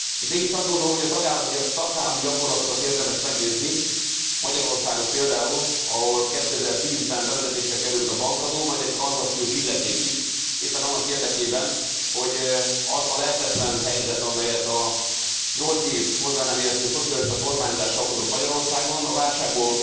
Mégis azt gondolom, hogy a tagállami gyakorlatokat érdemes megnézni, Magyarországot például, ahol 2010 ben bevezetésre került a bankadó, majd egy tranzakciós illeték is, éppen annak érekében, hogy az a lehetetlen helyzet, amelyet a nyolc év hozzá nem értő szocialista kormányzás okozott Magyarországon, a válságból